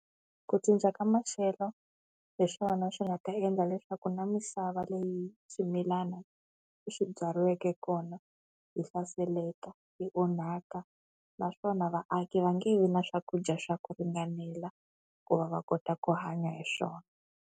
Ku cinca ka maxelo hi swona swi nga ta endla leswaku na misava leyi swimilana leswi byariweke kona yi hlaseleka, yi onhaka naswona vaaki va nge vi na swakudya swa ku ringanela ku va va kota ku hanya hi swona.